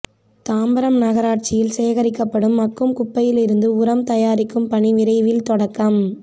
தாம்பரம் நகராட்சியில் சேகரிக்கப்படும் மக்கும் குப்பையில் இருந்து உரம் தயாரிக்கும் பணி விரைவில் தொடக்கம்